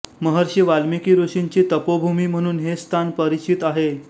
महर्षी वाल्मिकी ऋषींची तपोभूमी म्हणून हे स्थान परिचित आहे